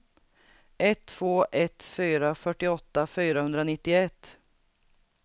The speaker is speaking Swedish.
ett två ett fyra fyrtioåtta fyrahundranittioett